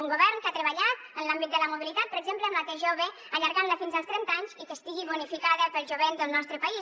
un govern que ha treballat en l’àmbit de la mobilitat per exemple amb la t jove allargant la fins als trenta anys i que estigui bonificada pel jovent del nostre país